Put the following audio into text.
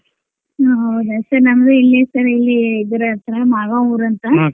ಹಾ ಹೌದ sir ನಮ್ದು ಇಲ್ಲೆ sir ಇಲ್ಲೆ ಇದ್ರ್ ಹತ್ರ ಮಾಗಾವ್ ಊರ್ ಅಂತ.